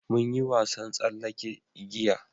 mun yi wasan tsallake igiya